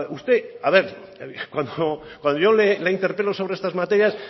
cuando yo le interpelo sobre estas materias